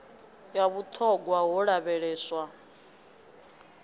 ya vhut hogwa ho lavheleswa